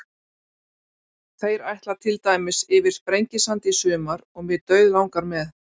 Þeir ætla til dæmis yfir Sprengisand í sumar og mig dauðlangar með.